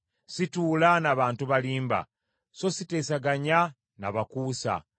Situula na bantu balimba, so siteesaganya na bakuusa.